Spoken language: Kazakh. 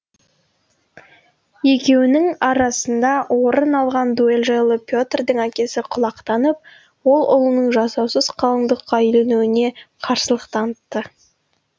екеуінің арасында орын алған дуэль жайлы петрдің әкесі құлақтанып ол ұлының жасаусыз қалыңдыққа үйленуіне қарсылық танытты